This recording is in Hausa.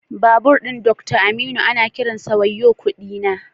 Doctor Aminu babur ana kiransa da "wayo kudi na"